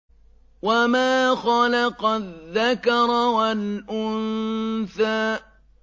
وَمَا خَلَقَ الذَّكَرَ وَالْأُنثَىٰ